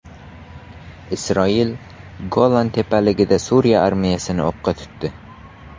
Isroil Golan tepaliklarida Suriya armiyasini o‘qqa tutdi.